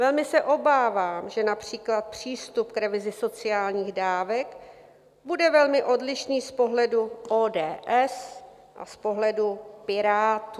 Velmi se obávám, že například přístup k revizi sociálních dávek bude velmi odlišný z pohledu ODS a z pohledu Pirátů.